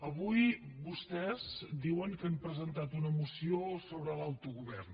avui vostès diuen que han presentat una moció sobre l’autogovern